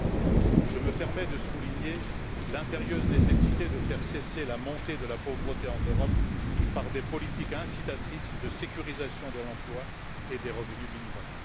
Enfin, je me permets de souligner l'impérieuse nécessité de faire cesser la montée de la pauvreté en Europe par des politiques incitatrices de sécurisation de l'emploi et des revenus minimums.